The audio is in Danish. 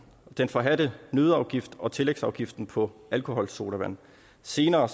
den forhadte nøddeafgift og tillægsafgiften på alkoholsodavand senere